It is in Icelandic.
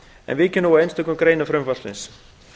en víkjum nú að einstökum greinum frumvarpsins